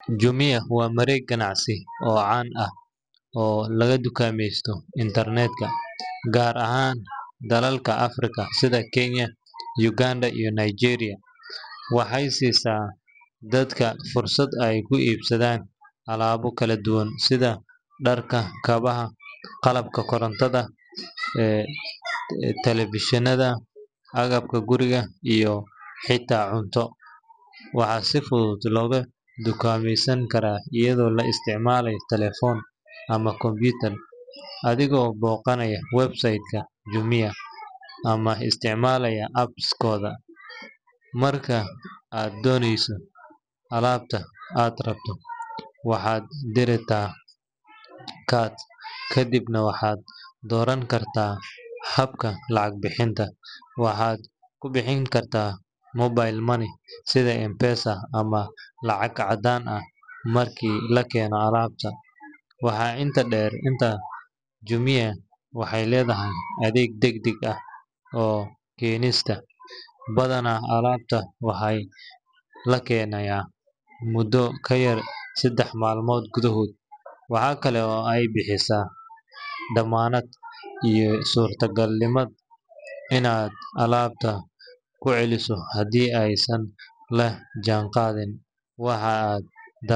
Jumia waa mareeg ganacsi oo caan ah oo laga dukaameysto internetka, gaar ahaan dalalka Afrika sida Kenya, Uganda, iyo Nigeria. Waxay siisaa dadka fursad ay ku iibsadaan alaabo kala duwan sida dharka, kabaha, qalabka korontada, taleefannada, agabka guriga, iyo xitaa cunto. Waxaa si fudud loogu dukaameysan karaa iyadoo la isticmaalayo taleefan ama computer, adigoo booqanaya website-ka Jumia ama isticmaalaya app-kooda. Marka aad doorato alaabta aad rabto, waxaad dhigtaa cart, kadibna waxaad dooran kartaa habka lacag bixinta – waxaad ku bixin kartaa mobile money sida M-Pesa ama lacag caddaan ah marka la keeno alaabta. Waxaa intaas dheer, Jumia waxay leedahay adeeg degdeg ah oo keenista, badanaa alaabta waxaa la keenayaa muddo ka yar saddex maalmood gudahood. Waxa kale oo ay bixisaa dammaanad iyo suurtagalnimada inaad alaabta ku celiso haddii aysan la jaanqaadin waxa aad.